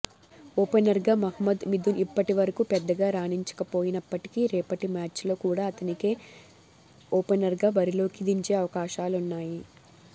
ఓపెనర్గా మహమ్మద్ మిథున్ ఇప్పటివరకు పెద్దగా రాణించకపోయినప్పటికీ రేపటి మ్యాచ్లో కూడా అతనినే ఓపెనర్గా బరిలోకి దించే అవకాశాలున్నాయి